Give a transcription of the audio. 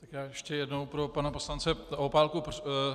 Tak já ještě jednou pro pana poslance Opálku.